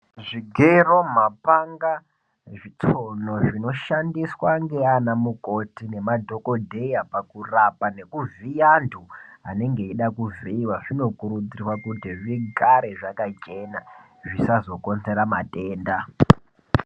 Zvigero mapaanga zvitsono zvinoshandiswa nana mukoti nemadhokodheya pakurapa nekuvhiya antu anenge eida kuvhuiiwa zvinokurudzirwa kuti zvigare zvakachena zvisazokonzera matenda.